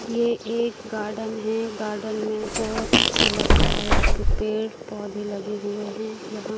ये एक गार्डन है गार्डन में बहोत अच्छा लग रहा है पेड़ पौधे लगे हुए हैं यहां--